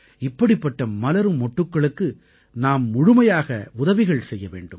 இப்படிப்பட்ட மலரும் மொட்டுக்களுக்கு நாம் முழுமையாக உதவிகள் செய்ய வேண்டும்